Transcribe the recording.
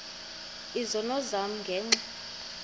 izono zam ngenxa